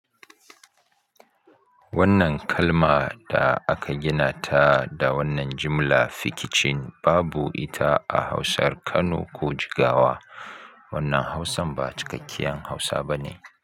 Wannan kalma da aka gina ta da wannan jimla fikicin babu ita a Hausar Kano ko Jigawa. Wannan Hausan ba cikakkiyar Hausa ba ne.